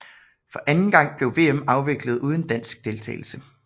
For anden gang blev VM afviklet uden dansk deltagelse